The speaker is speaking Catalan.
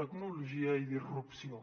tecnologia i disrupció